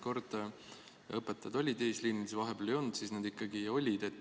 Kord õpetajad olid eesliinil, siis vahepeal ei olnud, siis nad ikkagi olid.